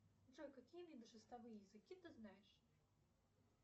джой какие виды текстовые языки ты знаешь